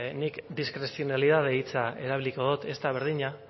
nik diskrezionalitate hitza erabiliko dot ez da berdina